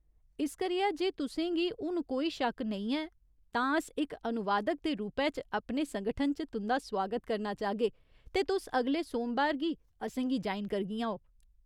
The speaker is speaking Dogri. इस करियै, जे तुसें गी हुन कोई शक्क नेईं ऐ, तां अस इक अनुवादक दे रूपै च अपने संगठन च तुं'दा सोआगत करना चाह्गे ते तुस अगले सोमबार गी असें गी ज्वाइन करगियां ओ।